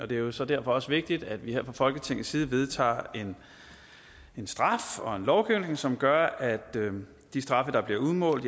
det er jo så derfor også vigtigt at vi her fra folketingets side vedtager en lovgivning som gør at de straffe der bliver udmålt